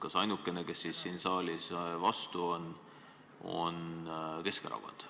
Kas ainukene, kes siin saalis vastu on, on Keskerakond?